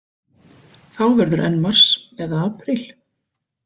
Þá verður enn mars eða apríl.